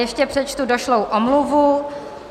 Ještě přečtu došlou omluvu.